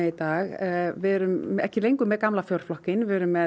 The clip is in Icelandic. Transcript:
í dag erum ekki lengur með gamla fjórflokkinn erum með